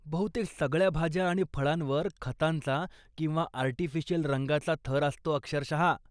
बहुतेक सगळ्या भाज्या आणि फळांवर खतांचा किंवा आर्टिफिशियल रंगाचा थर असतो अक्षरशः.